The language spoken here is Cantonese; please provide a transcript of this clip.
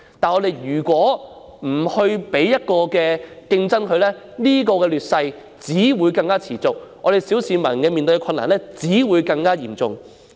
可是，如果不引入競爭，這種劣勢只會持續，小市民面對的困難只會更嚴重。